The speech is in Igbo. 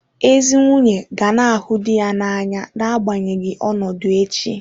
Ezi nwunye ga na-ahụ di ya n'anya n'agbanyeghị ọnọdụ echi.